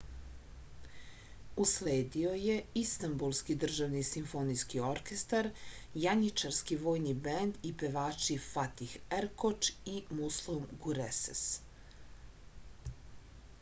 usledio je istambulski državni simfonijski orkestar janjičarski vojni bend i pevači fatih erkoč i muslum gurses